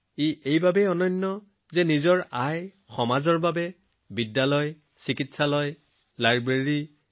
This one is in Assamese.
ভাই জগদীশ ত্ৰিবেদীজীয়ে যিকোনো অনুষ্ঠানৰ পৰা কিমান উপাৰ্জন কৰিছে আৰু যোৱা ৬ বছৰত কত খৰচ কৰিছে তাৰ সম্পূৰ্ণ লিখিত বিৱৰণী গ্ৰন্থখনত সন্নিবিষ্ট কৰা হৈছে